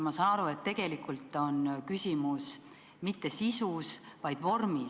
Ma saan aru, et tegelikult ei ole küsimus mitte sisus, vaid vormis.